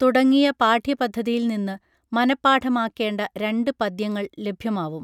തുടങ്ങിയ പാഠ്യപദ്ധതിയിൽനിന്നു മനഃപാഠമാക്കേണ്ട രണ്ട് പദ്യങ്ങൾ ലഭ്യമാവും